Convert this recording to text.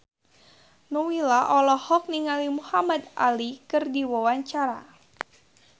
Nowela olohok ningali Muhamad Ali keur diwawancara